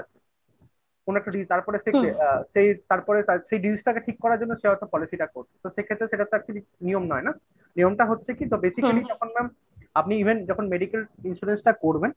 কোন একটা disease তারপরে সেগুলো সেই তারপরে সেই disease টাকে ঠিক করার জন্য সে হয়তো policy টা করছে সেক্ষেত্রে সেটা তো আর কিছু নিয়ম নয় না। নিয়মটা হচ্ছে কিন্তু basically আপনি even যখন medical insurance টা করবেন